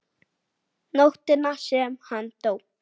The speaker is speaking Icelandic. Nóttina sem hann dó?